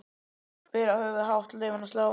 Bera höfuðið hátt, leyfa henni að slá.